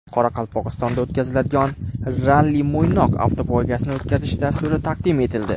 Qoraqalpog‘istonda o‘tkaziladigan Ralli Mo‘ynoq avtopoygasini o‘tkazish dasturi taqdim etildi.